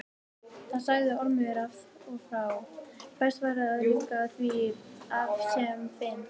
Það sagði Ormur af og frá, best væri að ljúka því af sem fyrst.